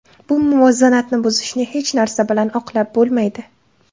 Bu muvozanatni buzishni hech narsa bilan oqlab bo‘lmaydi.